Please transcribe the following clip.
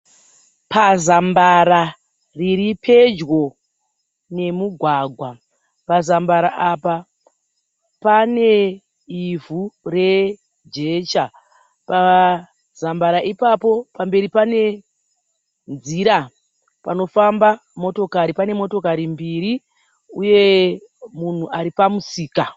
Pazambara riripedyo nemugwagwa. Pazambara apa pane ivhu rejecha. Pazambara ipapo pamberi panenzira panofamba motokari. Panemotokari mbiri uye munhu aripamusika.